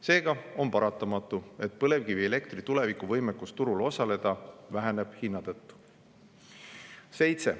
Seega on paratamatu, et põlevkivielektri tulevikuvõimekus turul osaleda väheneb hinna tõttu.